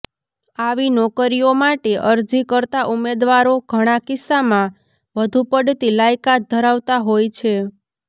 આવી નોકરીઓ માટે અરજી કરતા ઉમેદવારો ઘણા કિસ્સામાં વધુ પડતી લાયકાત ધરાવતા હોય છે